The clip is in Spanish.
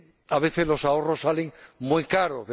A veces los ahorros salen muy caros.